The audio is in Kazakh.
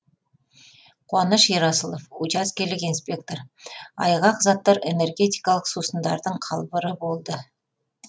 қуаныш ерасылов учаскелік инспектор айғақ заттар энергетикалық сусындардың қалбыры болды